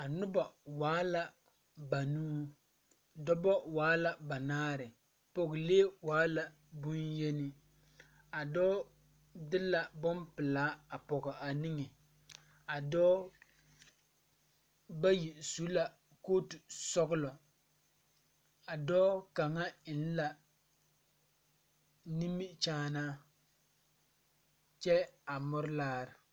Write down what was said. A nobɔ waa la banuu dɔbɔ waala banaare pɔgelee waala bonyeni a dɔɔ de la bonpelaa a pɔge a niŋe a dɔɔ bayi su la kootu sɔglɔ a dɔɔ kaŋa eŋ la nimikyaanaa kyɛ a muri laare.